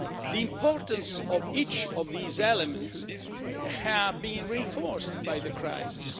The importance of each of these elements has been reinforced by the crisis.